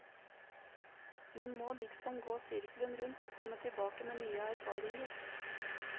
Man må liksom gå sirkelen rundt og komme tilbake med nye erfaringer.